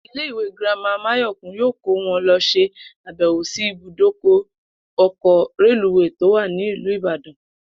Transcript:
Ilé ìwé girama Máyò̩kún yóò kó wo̩n lo̩ s̩e àbè̩wò sí ibùdókò̩ o̩kò̩ reluwéé tó wà ní ìlú Ìbàdàn